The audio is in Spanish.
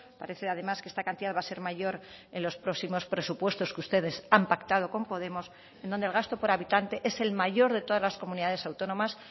parece además que esta cantidad va a ser mayor en los próximos presupuestos que ustedes han pactado con podemos en donde el gasto por habitante es el mayor de todas las comunidades autónomas